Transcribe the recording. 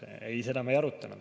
Ei, seda me ei arutanud.